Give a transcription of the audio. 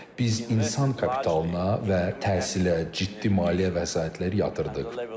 Biz insan kapitalına və təhsilə ciddi maliyyə vəsaitlər yatırdıq.